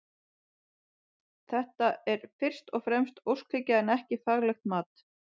Þetta er fyrst og fremst óskhyggja en ekki faglegt mat.